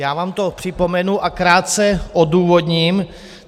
Já vám to připomenu a krátce odůvodním.